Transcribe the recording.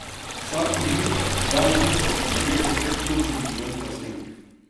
Vsako minuto, da, minuto, ljudje po svetu kupimo milijon plastenk.